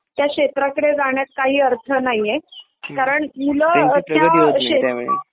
त्या क्षेत्राकडे जाण्यात काही अर्थ नाहीये कारण मुलं त्या क्षेत्रात